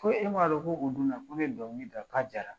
Ko e m'a dɔn ko o don na ko ne ye dɔnkili da k'a diyra!